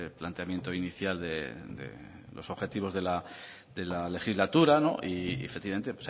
planteamiento inicial de los objetivos de la legislatura y efectivamente